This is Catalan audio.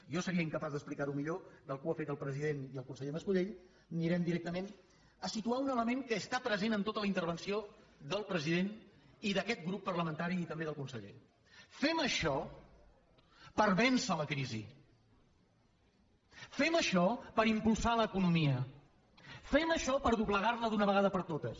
jo seria incapaç d’explicar ho millor del que ho han fet el president i el conseller mas colell anirem directament a situar un element que està present en tota la intervenció del president i d’aquest grup parlamentari i també del conseller fem això per vèncer la crisi fem això per impulsar l’economia fem això per doblegar la d’una vegada per totes